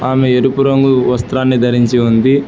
ఆమె ఎరుపు రంగు వస్త్రాని ధరించి ఉంది.